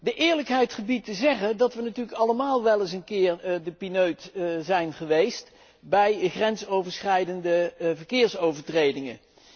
De eerlijkheid gebiedt te zeggen dat we natuurlijk allemaal wel eens een keer de pineut zijn geweest bij grensoverschrijdende verkeersovertredingen.